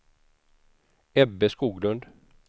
Ebbe Skoglund